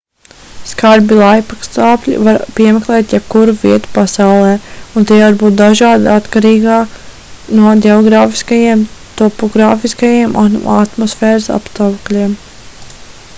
skarbi laikapstākļi var piemeklēt jebkuru vietu pasaulē un tie var būt dažādi atkarībā no ģeogrāfiskajiem topogrāfiskajiem un atmosfēras apstākļiem